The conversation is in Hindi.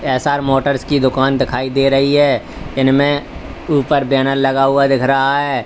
एस_आर मोटर्स की दुकान दिखाई दे रही है इनमें ऊपर बैनर लगा हुआ दिख रहा है।